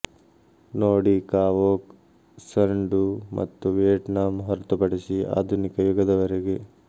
ನೋಡಿಕಾವೊಕ್ ಸನ್ ಡು ಮತ್ತು ವಿಯೆಟ್ನಾಂ ಹೊರತುಪಡಿಸಿ ಆದುನಿಕ ಯುಗದವರೆಗೆ